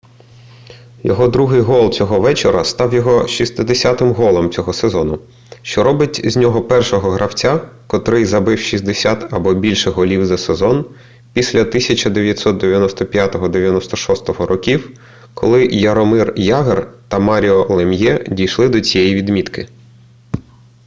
його другий гол цього вечора став його 60-м голом цього сезону що робить з нього першого гравця котрий забив 60 або більше голів за сезон після 1995-96 років коли яромир ягр та маріо лем'є дійшли до цієї відмітки